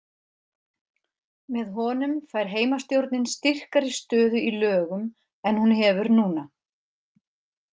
Með honum fær heimastjórnin styrkari stöðu í lögum en hún hefur núna.